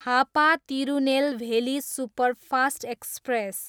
Hapa Tirunelveli superfast express